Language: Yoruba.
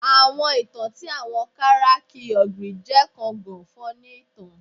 Awọn itan ti awọn Karachi Ogre je kan gan funny itan